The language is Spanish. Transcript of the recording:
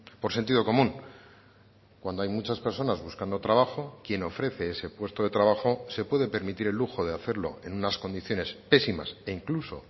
por sentido común cuando hay muchas personas buscando trabajo quien ofrece ese puesto de trabajo se puede permitir el lujo de hacerlo en unas condiciones pésimas e incluso